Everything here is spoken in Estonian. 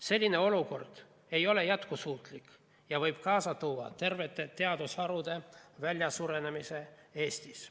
Selline olukord ei ole jätkusuutlik ja võib kaasa tuua tervete teadusharude väljasuremise Eestis.